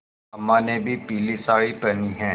अम्मा ने भी पीली सारी पेहनी है